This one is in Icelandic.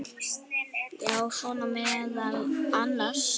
Já, svona meðal annars.